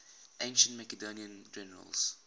ancient macedonian generals